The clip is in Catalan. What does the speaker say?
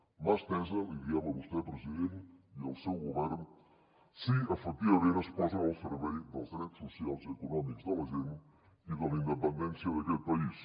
mà estesa li diem a vostè president i al seu govern si efectivament es posa al servei dels drets socials i econòmics de la gent i de la independència d’aquest país